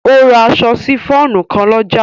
O ra aṣọ sifon kan lọ́jà.